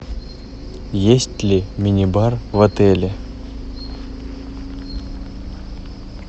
есть ли мини бар в отеле